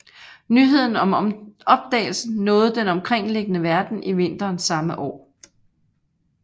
Nyheden om opdagelsen nåede den omkringliggende verden i vinteren samme år